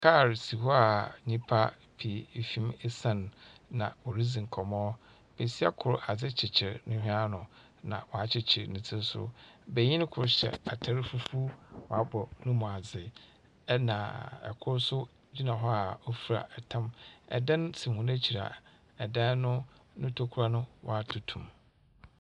Kaar si hɔ a nipa pii efim esan na wɔredzi nkɔmɔ. Besia kor, ade kyikyir ne hwini ano na wakyikyir ne ti nso. Benyin kor hyɛ atar fufuo na waabɔ ni mu adzi ɛna kor so gyina hɔ a ofra ntam. Ɛdan si wɔn akyi a ɛdan no, ni ntokua waatutu mu.